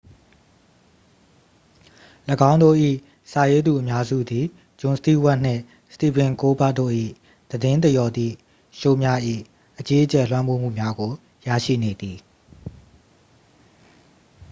၎င်းတို့၏ စာရေးသူအများစုသည် ဂျွန်စတီးဝပ်နှင့် စတီဗင်ကိုးလ်ဘာ့တ်တို့၏ သတင်းသရော်သည့်ရှိုးများ၏ အကြီးအကျယ်လွှမ်းမိုးမှုများကို ရရှိနေသည်